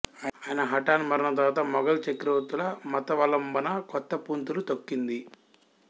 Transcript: అయన హఠాన్మరణం తరువాత మొఘల్ చక్రవర్తుల మతావలంబన కొత్తపుంతలు తొక్కింది